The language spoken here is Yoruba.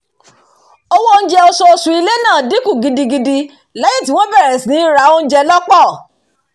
owó oúnjẹ oṣooṣù ilé náà dínkù gidigidi lẹ́yìn tí wọ́n bẹ̀rẹ̀ sí ní ra oúnjẹ lọ́pọ̀